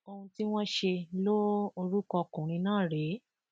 ohun tí wọn ṣe lo orúkọ ọkùnrin náà rèé